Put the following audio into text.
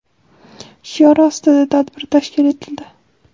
shiori ostida tadbir tashkil etildi.